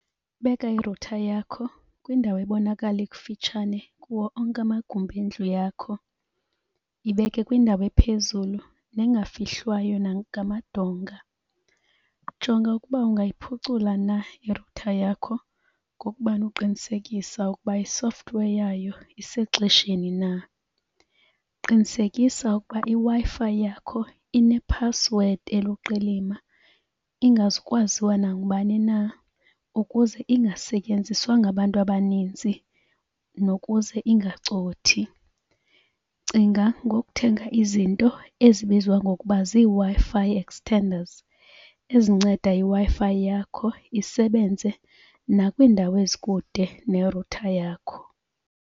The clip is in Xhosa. Beka irutha yakho kwindawo ebonakala ikufitshane kuwo onke amagumbi endlu yakho. Yibeke kwindawo ephezulu nengafihlwayo nangamadonga. Jonga ukuba ungayiphucula na irutha yakho ngokubana uqinisekisa ukuba i-software yayo isexesheni na. Qinisekisa ukuba iWi-Fi yakho inephasiswedi eluqilima ingazukwaziwa nangubani na ukuze ingasetyenziswa ngabantu abaninzi nokuze ingacothi. Cinga ngokuthenga izinto ezibizwa ngokuba ziiWi-Fi extenders ezinceda iWi-Fi yakho isebenze nakwiindawo ezikude nerutha yakho.